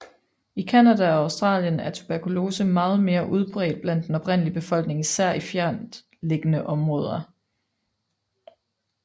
I Canada og Australien er tuberkulose meget mere udbredt blandt den oprindelige befolkning især i fjerntliggende områder